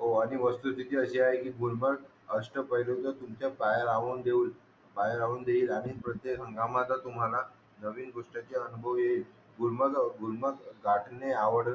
हो आणि वस्तू स्तिती अशी आहे कि गुलमर्ग अष्ट्ट पैयलूचा तूमचा पायाला राहून देऊन पायाला राहून देईल आणि प्रत्येक घामाचा तुम्हाला नवीन गोष्टींची अनुभव येईल गुलमर्ग गुलमर्ग दाटने आणि आवड